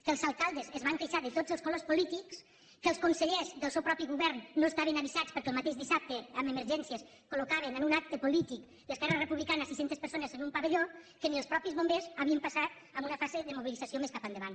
que els alcaldes es van queixar de tots els colors polítics que els consellers del seu mateix govern no estaven avisats perquè el mateix dissabte amb emergències col·locaven en un acte polític d’esquerra republicana sis cents persones en un pavelló que ni els mateixos bombers havien passat en una fase de mobilització més cap endavant